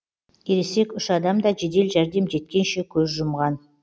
ересек үш адам да жедел жәрдем жеткенше көз жұмған